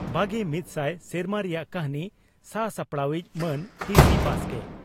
ᱵᱟᱜᱮ ᱢᱤᱫ ᱥᱟᱭ ᱥᱮᱨᱢᱟ ᱨᱮᱭᱟᱜ ᱠᱟᱹᱦᱱᱤ ᱥᱟᱼᱥᱟᱯᱲᱟᱣᱤᱡ ᱺ ᱢᱟᱱ ᱴᱤᱹᱥᱤᱹ ᱵᱟᱥᱠᱮ